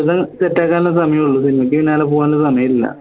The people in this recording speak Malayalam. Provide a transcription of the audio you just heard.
set ആക്കാൻല്ല സമയള്ളൂ സിനിമക്ക് പിന്നാലെ പോവാൻന്നും സമയല്ല